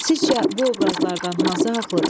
Sizcə bu obrazlardan hansı haqqlıdır?